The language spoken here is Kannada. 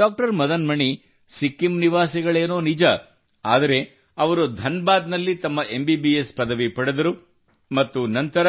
ಡಾಕ್ಟರ್ ಮದನ್ ಮಣಿ ಸಿಕ್ಕಿಂ ನಿವಾಸಿಗಳೇನೋ ನಿಜ ಆದರೆ ಅವರು ಧನ್ ಬಾದ್ ನಲ್ಲಿ ತಮ್ಮ ಎಂಬಿಬಿಎಸ್ ಪದವಿ ಪಡೆದರು ಮತ್ತು ನಂತರ